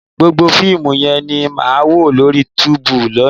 Gbogbo fíìmù yẹn ni màá wò lórí Youtube lónìí